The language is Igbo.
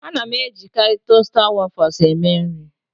A na-ejikarị tosta wafụls eme nri